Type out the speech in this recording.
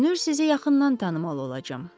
Görünür sizi yaxından tanımalı olacam.